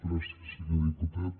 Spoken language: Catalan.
gràcies senyor diputat